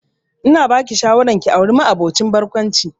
Ina ba ki shawara ki auri ma'aboci barkwanci